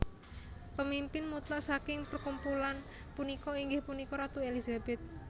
Pemimpin mutlak saking perkumpulan punika inggih punika Ratu Elizabeth